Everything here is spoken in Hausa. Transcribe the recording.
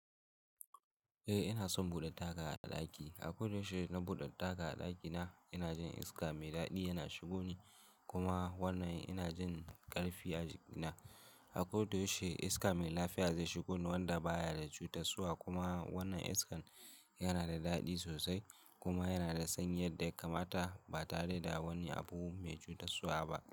Eh ina son buɗe taga a ɗaki. A koda yaushe na buɗe taga a ɗakina ina jin iska mai daɗi yana shigo ni kuma wannan ina jin ƙarfi a jikina. A koda yaushe iska mai lafiya zai shigo Ni wanda baya da cutarwa kuma wannan iskan yana da daɗi sosai kuma yana da sanyi yadda kamata ba tare da wani abu mai cutarwa ba.